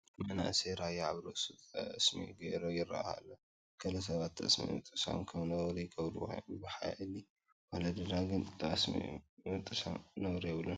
መንእሰይ ራያ ኣብ ርእሱ ጠስሚ ገይሩ ይርአ ኣሎ፡፡ ገለ ሰባት ጠስሚ ምጥሳም ከም ነውሪ ይገብርዎ እዮም፡፡ ብባሕሊ ወለድና ግን ጠስሚ ምጥሳም ነውሪ የብሉን፡፡